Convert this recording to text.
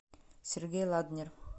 сергей ладнер